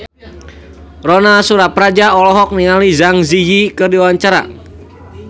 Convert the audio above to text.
Ronal Surapradja olohok ningali Zang Zi Yi keur diwawancara